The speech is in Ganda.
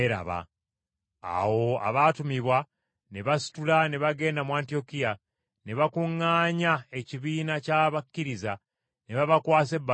Awo abaatumibwa ne basitula ne bagenda mu Antiyokiya, ne bakuŋŋaanya ekibiina ky’abakkiriza ne babakwasa ebbaluwa eyo.